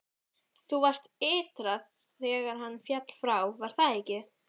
Þú varst ytra þegar hann féll frá, var það ekki?